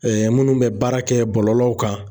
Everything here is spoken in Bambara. minnu bɛ baara kɛ bɔlɔlɔw kan